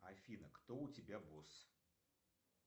афина кто у тебя босс